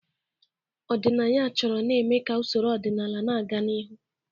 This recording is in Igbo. Ọdịnaya chọrọ na-eme ka usoro ọdịnala na-aga n'ihu.